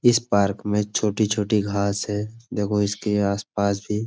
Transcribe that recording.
इस पार्क में छोटी छोटी घास है। देखो इसके आसपास भी --